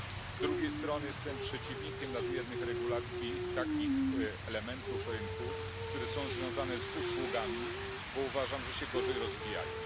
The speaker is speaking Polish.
Z drugiej strony, jestem przeciwnikiem nadmiernych regulacji takich elementów rynku, które są związane z usługami, bo uważam, że się gorzej rozwijają.